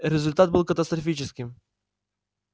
результат был катастрофическим